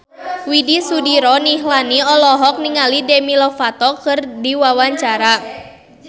Widy Soediro Nichlany olohok ningali Demi Lovato keur diwawancara